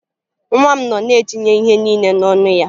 Nwa m nọ na-etinye ihe niile n'ọnụ ya